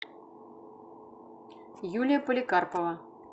юлия поликарпова